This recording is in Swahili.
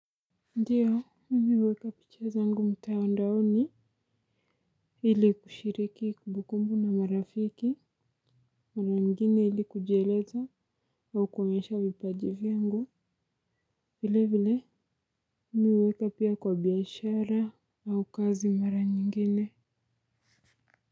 Ndiyo mimi huweka picha za ngu mtandaoni ili kushiriki kumbukumbu na marafiki mara ingine ili kujieleza au kuonyesha vipajivya ngu vile vile mimi huweka pia kwa biashara au kazi mara nyingine.